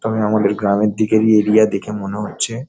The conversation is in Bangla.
তবে আমাদের গ্রামের দিকের ই এরিয়া দেখে মনে হচ্ছে ।